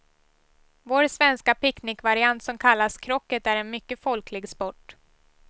Vår svenska picknickvariant som kallas krocket är en mycket folklig sport.